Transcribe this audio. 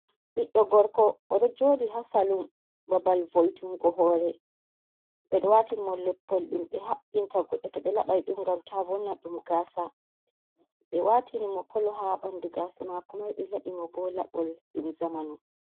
Ɓiɗdo gorko, o do joodi ha salum. babal voyi tungo hoore, ɓedo waatini mo leppol ɗum be haɓbinta goddo to ɓe laɓai dum gam ta vonna ɗum gasa. be waatini mo kolo ha ɓandu gasa mako mai be laaɓi mo bo, laaɓol ɗum jamanu.